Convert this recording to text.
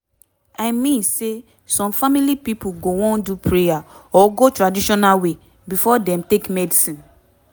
i mean say some family pipo go wan do prayer or go traditional way before dem take medicine